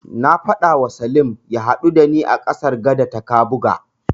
Na faɗawa Salim ya haɗu da ni a gadar ƙasa ta Kabuga.